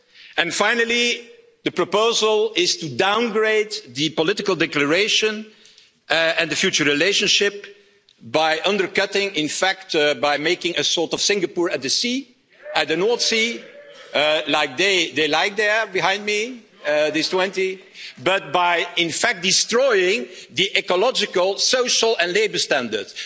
And finally, the proposal is to downgrade the political declaration and the future relationship by undercutting, in fact by making a sort of Singapore at the sea, at the North Sea these 20 behind me like that but by in fact destroying the ecological, social and labour standards.